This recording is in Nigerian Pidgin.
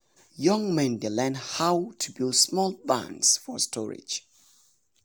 young men dey learn how to build small barns for storage.